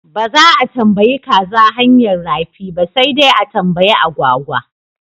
Ba za a tambayi kaza hanyar rafi ba sai dai a tambayi agwagwa.